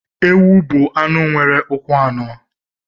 Ewu bụ anụ nwere ụkwụ anọ.